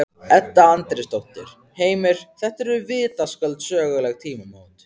Edda Andrésdóttir: Heimir, þetta eru vitaskuld söguleg tímamót?